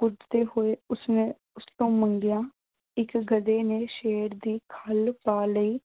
ਕੁੱਦਦੇ ਹੋਏ ਉਸਨੇ ਉਸਤੋਂ ਮੰਗਿਆ। ਇੱਕ ਗਧੇ ਨੇ ਸ਼ੇਰ ਦੀ ਖੱਲ ਪਾ ਲਈ।